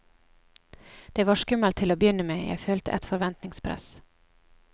Det var skummelt til å begynne med, jeg følte et forventningspress.